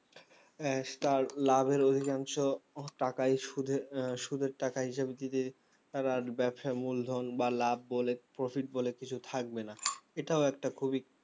আহ তার লাভের অধিকাংশ তাকাই সুদের আহ সুদের টাকা হিসাবে দিবে তারা আর ব্যবসায় মূলধন বা লাভ বলে profit বলে কিছু থাকবে না এটাও একটা খুবই